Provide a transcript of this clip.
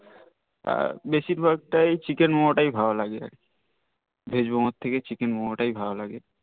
বেসির ভাগ টাই chicken momo টাই ভাল লাগে Veg momo থেকে chicken momo টাই ভাল লাগে